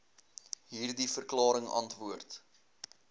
hierdie verklaring antwoord